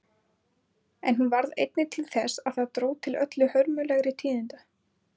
En hún varð einnig til þess að það dró til öllu hörmulegri tíðinda.